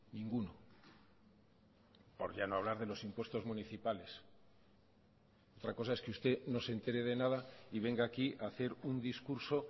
ninguno por ya no hablar de los impuestos municipales otra cosa es que usted no se entere de nada y venga aquí a hacer un discurso